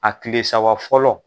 A kile saba fɔlɔ.